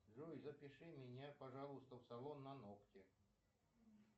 джой запиши меня пожалуйста в салон на ногти